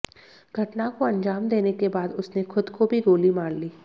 घटना को अंजाम देने के बाद उसने खुद को भी गोली मार ली